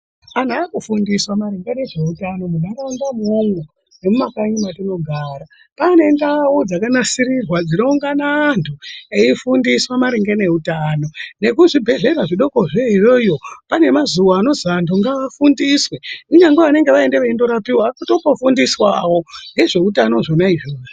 Anhu akafundiswa maringe nezveutano munharaunda umwomwo nemumakanyi mwatinogara. Kwaane ndau dzakanasirirwa dzinoungana antu eifundiswa maringe neutano nekuzvibhendlera zvidoko zvo iyoyo, pane mazuwa anozwi antu ngaafundiswe. Kunyangwe vanenge vaenda veindorapiwa vanotongofundiswawo ngezveutano zvona izvozvo.